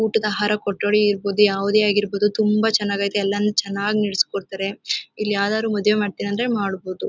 ಊಟದ ಆಹಾರ ಕೊಠಡಿ ಇರ್ಬೋದು ಯಾವುದೇ ಆಗಿರ್ಬೋದು. ತುಂಬಾ ಚೆನ್ನಾಗೈತೆ. ಎಲ್ಲಾನು ಚೆನ್ನಾಗಿ ನಡೆಸಿಕೊಡ್ತಾರೆ. ಇಲ್ಲಿ ಯಾವ್ದಾದ್ರು ಮದುವೆ ಮಾಡ್ತೀವಿ ಅಂದ್ರೆ ಮಾಡಬಹುದು.